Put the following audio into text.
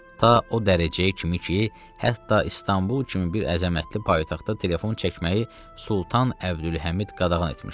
Ta o dərəcəyə kimi ki, hətta İstanbul kimi bir əzəmətli paytaxtda telefon çəkməyi Sultan Əbdülhəmid qadağan etmişdi.